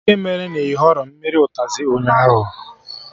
Kedụ ihe mere na ị họrọ mmiri ụtazị ụnyaahụ?